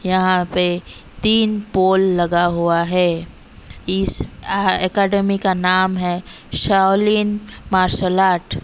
यहां पे तीन पोल लगा हुआ है इस अह एकेडमी का नाम है शाओलिन मार्शल आर्ट ।